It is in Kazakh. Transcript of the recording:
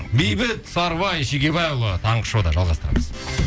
бейбіт сарыбай шегебайұлы таңғы шоуда жалғастырамыз